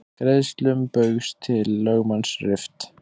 Greiðslum Baugs til lögmanns rift